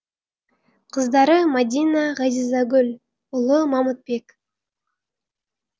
қыздары мадина ғазизагүл ұлы мамытбек